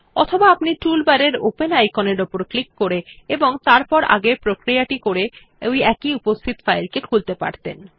অথবা আপনি উপরের টুলবারের ওপেন আইকনের উপর ক্লিক করে এবং তারপর আগের প্রক্রিয়া টি করে একটি উপস্থিত ফাইলটি খুলতে পারতেন